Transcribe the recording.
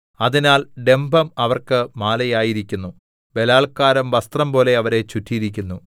അതിനാൽ ഡംഭം അവർക്ക് മാലയായിരിക്കുന്നു ബലാല്ക്കാരം വസ്ത്രംപോലെ അവരെ ചുറ്റിയിരിക്കുന്നു